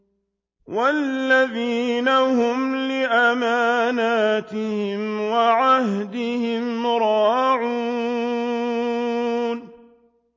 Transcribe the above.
وَالَّذِينَ هُمْ لِأَمَانَاتِهِمْ وَعَهْدِهِمْ رَاعُونَ